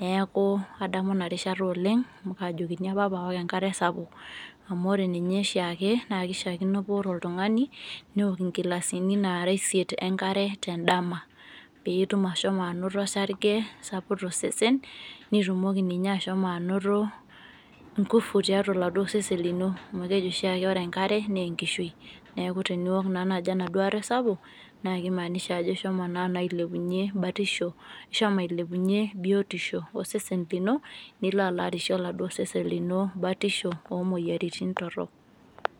neeku kadamu ina rishata oleng amu kaajokini apa pee aok enkare sapuk. amu ore ninye oshiake kishaakino paa ore oltungani neok inkilisani naara isiet enkare tedama, peetum, ashomo anoto osarge sapuk tosesen. nitumoki ninye ashomo anoto nkufu tiatua aoladuo sesen lino amu keji oshiake ore enkare naa enkishui. neeku teniok naaduo naaji enaduo are sapuk, naa kimaanisha naa ajo ishomo naa ailepunye batisho, ishomo ailepunye biotisho osesen lino. nilo alo arishe oladuoo sesen lino batisho omoyiaritin torrok.